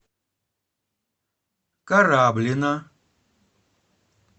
кораблино